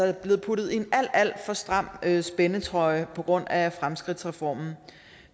er blevet puttet i en alt alt for stram spændetrøje på grund af fremskridtsreformen